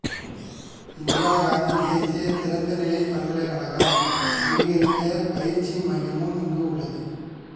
இந்திரா காந்தி தேசிய திறந்தநிலைப் பல்கலைக்கழகம் அங்கீகரித்த பயிற்சி மையமும் இங்கு உள்ளது